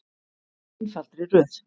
Í einfaldri röð.